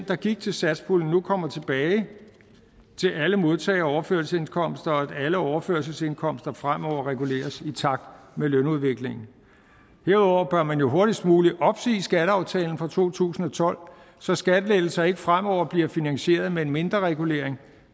der gik til satspuljen kommer tilbage til alle modtagere af overførselsindkomster og at alle overførselsindkomster fremover reguleres i takt med lønudviklingen herudover bør man jo hurtigst muligt opsige skatteaftalen fra to tusind og tolv så skattelettelser ikke fremover bliver finansieret med en mindreregulering